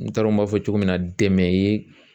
N t'a dɔn n b'a fɔ cogo min na dɛmɛ ye